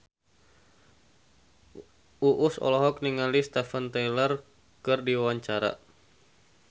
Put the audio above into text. Uus olohok ningali Steven Tyler keur diwawancara